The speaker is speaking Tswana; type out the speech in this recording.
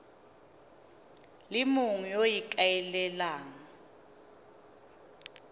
le mongwe yo o ikaelelang